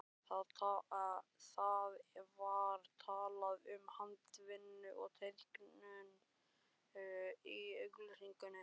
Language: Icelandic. Það var talað um handavinnu og teikningu í auglýsingunni.